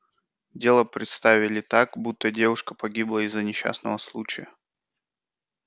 дело представили так будто девушка погибла из-за несчастного случая